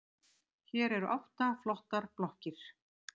Hér eru átta flottar blokkir.